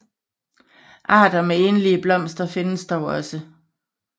Arter med enlige blomster findes dog også